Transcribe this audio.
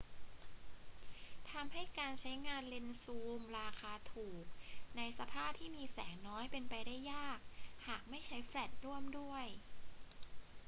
ทำให้การใช้งานเลนส์ซูมราคาถูกในสภาพที่มีแสงน้อยเป็นไปได้ยาก หากไม่ใช้แฟลชร่วมด้วย